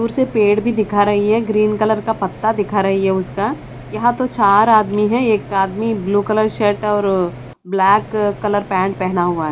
दूर से पेड़ भी दिखा रही है ग्रीन कलर का पत्ता दिखा रही है उसका यहां तो चार आदमी हैं एक आदमी ब्ल्यू कलर शर्ट और ब्लैक कलर पैंट पहना हुआ है।